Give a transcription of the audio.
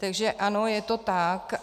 Takže ano, je to tak.